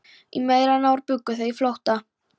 Í meira en ár bjuggu þau í flótta